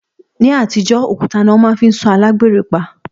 Ní àtijọ́, òkúta ni wọ́n máa fi ń sọ alágbèrè pa